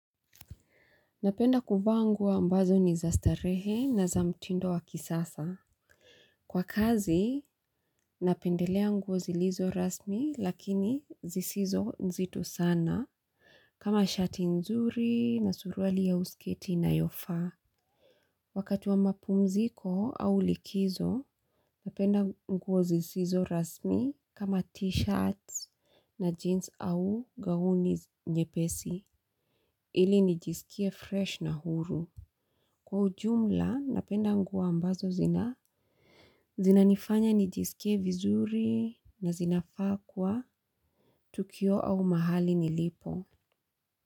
Napenda kuvaa nguo ambazo ni za starehe na za mtindo wa kisasa. Kwa kazi, napendelea nguo zilizo rasmi lakini zisizo nzito sana kama shati nzuri na suruali au sketi inayofaa. Wakati wa mapumziko au likizo, napenda nguo zisizo rasmi kama t-shirts na jeans au gauni nyepesi ili nijisikie fresh na huru. Kwa ujumla, napenda nguo ambazo zina. Zinanifanya nijisikie vizuri na zinafaa kuwa. Tukio au mahali nilipo.